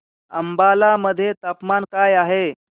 अंबाला मध्ये तापमान काय आहे